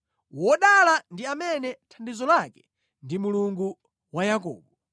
Wodala ndi amene thandizo lake ndi Mulungu wa Yakobo.